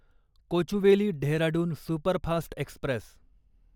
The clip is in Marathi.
Kochuveli Dehradun superfast Express